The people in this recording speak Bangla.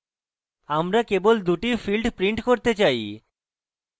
আমরা কেবল দুটি fields print করতে say